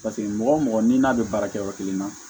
Paseke mɔgɔ o mɔgɔ n'i n'a bɛ baara kɛ yɔrɔ kelen na